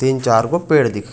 तीन चार गो पेड़ दिखत--